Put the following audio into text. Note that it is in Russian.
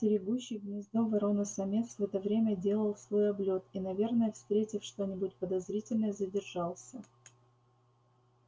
стерегущий гнездо ворона-самец в это время делал свой облёт и наверное встретив что-нибудь подозрительное задержался